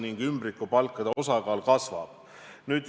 Ning ümbrikupalkade osakaal kasvab.